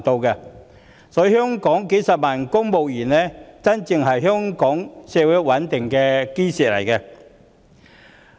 因此，香港數十萬名公務員才真正是香港社會賴以穩定的基石。